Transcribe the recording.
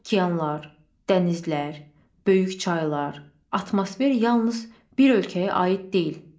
Okeanlar, dənizlər, böyük çaylar, atmosfer yalnız bir ölkəyə aid deyil.